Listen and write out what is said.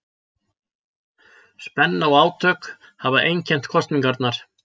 Spenna og átök hafa einkennt kosningarnar